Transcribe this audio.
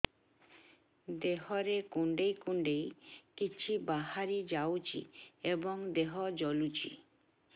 ଦେହରେ କୁଣ୍ଡେଇ କୁଣ୍ଡେଇ କିଛି ବାହାରି ଯାଉଛି ଏବଂ ଦେହ ଜଳୁଛି